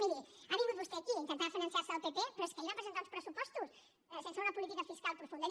miri ha vingut vostè aquí a intentar diferenciar se del pp però és que ahir van presentar uns pressupostos sense una política fiscal profunda